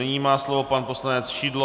Nyní má slovo pan poslanec Šidlo.